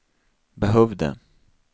behövde